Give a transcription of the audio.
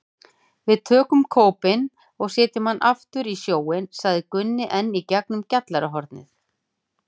Við tökum kópinn og setjum hann aftur í sjóinn, sagði Gunni enn í gegnum gjallarhornið.